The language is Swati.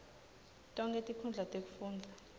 tonkhe tinkhundla tekufundza